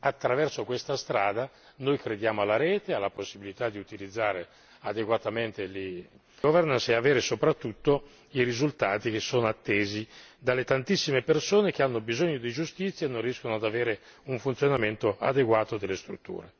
attraverso questa strada noi crediamo alla rete, alla possibilità di utilizzare adeguatamente le governance e avere soprattutto i risultati che sono attesi dalle tantissime persone che hanno bisogno di giustizia e non riescono ad avere un funzionamento adeguato delle strutture.